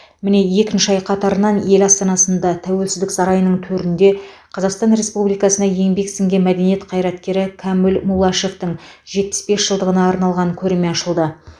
міне екінші ай қатарынан ел астанасында тәуелсіздік сарайының төрінде қазақстан республикасына еңбек сіңірген мәдениет қайраткері кәміл муллашевтың жетпіс бес жылдығына арналған көрме ашылды